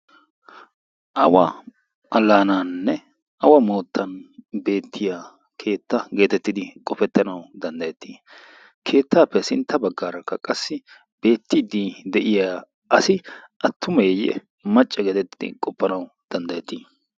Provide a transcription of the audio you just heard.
awa alaanaanne awa moottan beettiya keetta geetettidi qofettanau danddayettii? keettaappe sintta baggaarakka qassi beettiidi de'iya asi attumeeyye macce geetettidi qoppanawu danddayettii?